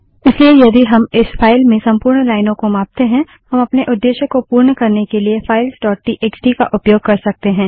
इसलिए यदि हम इस फाइल में संपूर्ण लाइनों को मापते हैं हम अपने उद्देश्य को पूर्ण करने के लिए फाइल्स डोट टीएक्सटीfilesटीएक्सटी का उपयोग कर सकते हैं